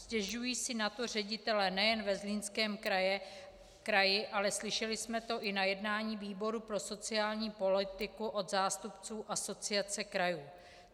Stěžují si na to ředitelé nejen ve Zlínském kraji, ale slyšeli jsme to i na jednání výboru pro sociální politiku od zástupců Asociace krajů.